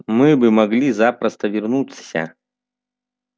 мы бы могли запросто вернуться